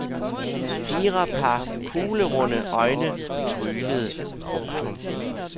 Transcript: Fire par kuglerunde øjne tryglede. punktum